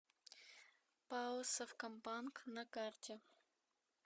пао совкомбанк на карте